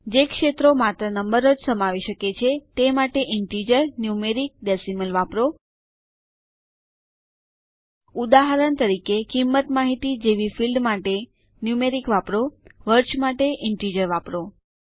જે ક્ષેત્રો માત્ર નંબરો જ સમાવી શકે છે તે માટે ઇન્ટિજર ન્યુમેરિક ડેસિમલ વાપરો ઉદાહરણ તરીકે કિંમત માહિતી જેવી ફિલ્ડ માટે ન્યુમેરિક વાપરો વર્ષ માટે ઇન્ટિજર વાપરો